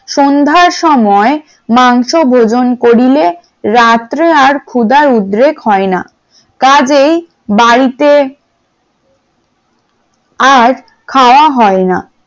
সন্ধ্যার সময় মাংস ভজন করিলে রাত্রে আর ক্ষুধার উদ্রেক হয় না, কাজেই বাড়িতে আর খাওয়া হয় না ।